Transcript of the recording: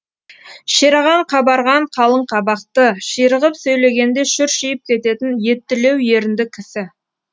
шерағаң қабарған қалың қабақты ширығып сөйлегенде шүршиіп кететін еттілеу ерінді кісі